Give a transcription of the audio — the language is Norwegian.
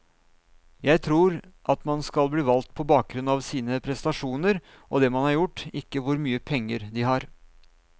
Jeg tror at man skal bli valgt på bakgrunn av sine prestasjoner og det man har gjort, ikke hvor mye penger de har.